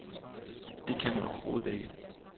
Det kan man overhovedet ikke.